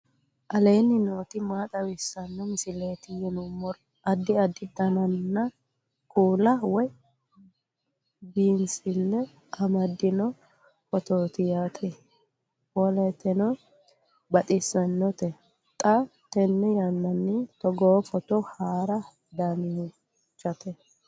aleenni nooti maa xawisanno misileeti yinummoro addi addi dananna kuula woy biinsille amaddino footooti yaate qoltenno baxissannote xa tenne yannanni togoo footo haara danvchate